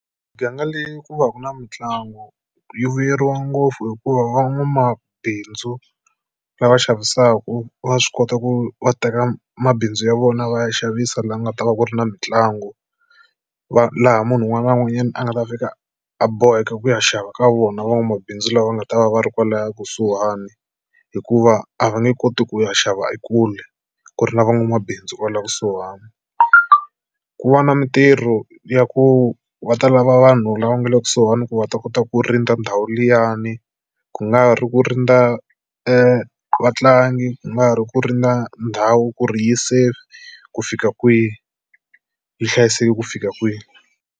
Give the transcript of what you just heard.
Miganga leyi ku va ku na mitlangu yi vuyeriwa ngopfu hikuva van'wamabindzu lava xavisaka va swi kota ku va teka mabindzu ya vona va ya xavisa laha nga ta va ku ri na mitlangu. Va laha munhu un'wana na un'wanyana a nga ta fika a boheka ku ya xava ka vona van'wamabindzu lava va nga ta va va ri kwalaya kusuhani hikuva a va nge koti ku ya xava ekule ku ri na van'wamabindzu kwala kusuhani. Ku va na mitirho ya ku va ta lava vanhu lava nga le kusuhani ku va ta kota ku rindza ndhawu liyani. Ku nga ri ku rindza e vatlangi, ku nga ri ku rindza ndhawu ku ri yi safe ku fika kwihi yi hlayiseke ku fika kwihi.